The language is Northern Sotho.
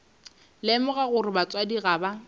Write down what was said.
lemoga gore batswadi ga ba